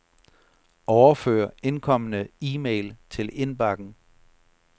Overfør indkomne e-mail til indbakken.